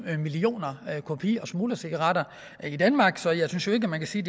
millioner kopi og smuglercigaretter i danmark så jeg synes ikke man kan sige